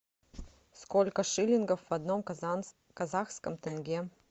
сколько шиллингов в одном казахском тенге